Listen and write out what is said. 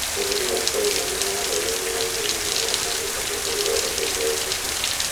Bũrũri wa China nĩ ũratherema na ihenya mũno na nĩ ũhotete gũthondeka indo nyingĩ.